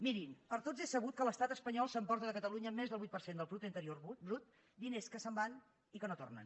mirin per tots és sabut que l’estat espanyol s’emporta de catalunya més del vuit per cent del producte interior brut diners que se’n van i que no tornen